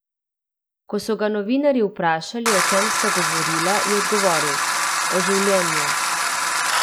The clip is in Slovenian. Ko so ga novinarji vprašali, o čem sta govorila, je odgovoril: "O življenju.